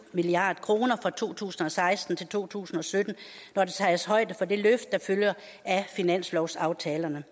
milliard kroner fra to tusind og seksten til to tusind og sytten når der tages højde for det løft der følger af finanslovsaftalerne